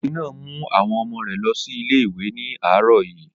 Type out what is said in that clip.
Obìnrin náà mú àwọn ọmọ rẹ̀ lọ sí ilé ìwé ní àárọ̀ yìí.